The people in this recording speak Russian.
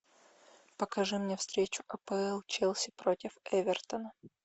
покажи мне встречу апл челси против эвертона